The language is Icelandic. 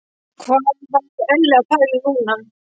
Hvað var Elli að pæla núna?